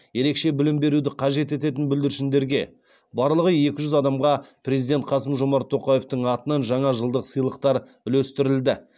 ерекше білім беруді қажет ететін бүлдіршіндерге барлығы екі жүз адамға президент қасым жомарт тоқаевтың атынан жаңа жылдық сыйлықтар үлестірілді